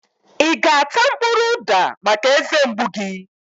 I ga-ata mkpụrụ uda maka eze mgbu gị?